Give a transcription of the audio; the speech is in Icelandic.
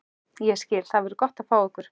Ég skil- Það verður gott að fá ykkur.